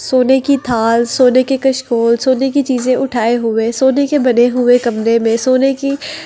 सोने की थाल सोने के कशखोल सोने की चीजें उठाए हुए सोने के बने हुए कमरे में सोने की --